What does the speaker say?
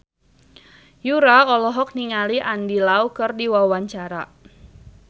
Yura olohok ningali Andy Lau keur diwawancara